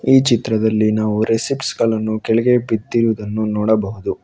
ಈ ಚಿತ್ರದಲ್ಲಿ ನಾವು ರೆಸಿಪ್ಟ್ಸ್ ಗಳನ್ನು ಕೆಳಗೆ ಬಿದ್ದಿರುವುದನ್ನು ನೋಡಬಹುದು.